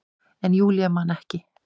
En Júlía man ekki.